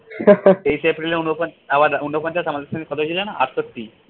তেইশ april এ উনপঞ্চাশ আবার ঊনপঞ্চাশ আমাদের সাথে কবে ছিল যেন আটষট্টি।